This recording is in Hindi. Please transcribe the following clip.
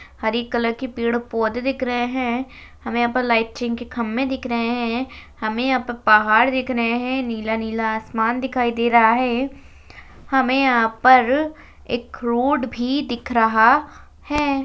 हरी कलर की पेड़ पौधे दिख रहे हैं हमें यहां पर लाइटिंग के खंबे दिख रहे हैं हमें यहां पर पहाड़ दिख रहे हैंनीला नीला आसमान दिखाई दे रहा है हमें यहां पर एक रोड भी दिख रहा है।